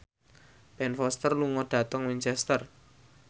Ben Foster lunga dhateng Winchester